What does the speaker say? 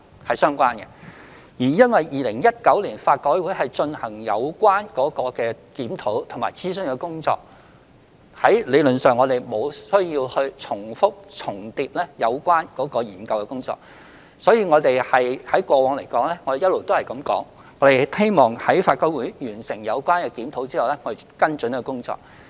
由於法改會在2019年進行有關的檢討和諮詢工作，我們理論上無須重複研究。因此，我們過往一直表示，希望待法改會完成檢討後才作出跟進工作。